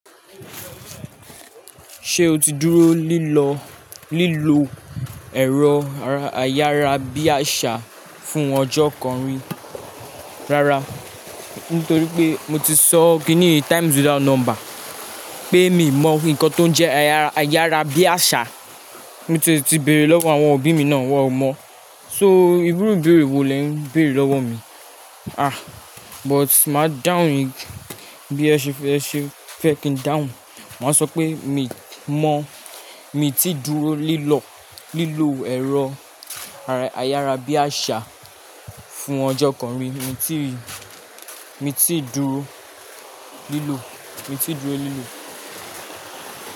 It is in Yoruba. Ṣé o ti dúró lílọ, lílo ẹ̀rọ ayárabíàṣá fún ọjọ́ kan rí? Rárá, nítorí pé mo ti sọ kìní times without number pé mi mọ nǹkan tó ń jẹ́ ayárabíàṣá, mo ti tìí béèrè lọ́wọ́ àwọn òbí mi náà, wọ́n ò mọ̀. So, ìru ìbéèrè wo lè ń béèrè lọ́wọ́ mi? Ah! But máa dáhùn bí ẹ ṣe fẹ́ kí n dáhùn. Màá sọ pé mi mọ̀, mi ti dúró lílọ, lílo ẹ̀rọ ayárabíàṣá fún ọjọ́ kan rí, mi ti, mi ti dúró lílò, mi ti dúró lílò.